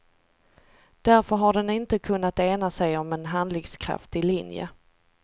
Därför har den inte kunnat ena sig om en handlingskraftig linje.